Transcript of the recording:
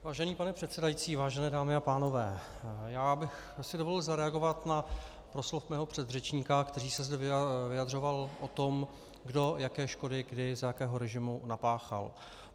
Vážený pane předsedající, vážené dámy a pánové, já bych si dovolil zareagovat na proslov svého předřečníka, který se zde vyjadřoval o tom, kdo jaké škody kdy za jakého režimu napáchal.